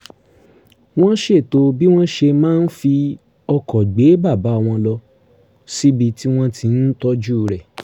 wọ́n ṣètò bí wọ́n ṣe máa fi ọkọ̀ gbé bàbá wọn lọ síbi tí wọ́n ti ń tọ́jú rẹ̀